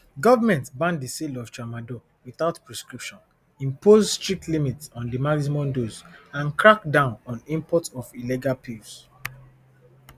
government ban di sale of tramadol without prescription impose strict limits on di maximum dose and crack down on imports of illegal pills